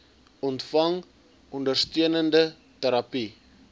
ontvang ondersteunende terapie